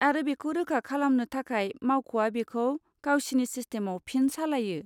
आरो बेखौ रोखा खालामनो थाखाय मावख'आ बेखौ गावसिनि सिस्टेमाव फिन सालायो।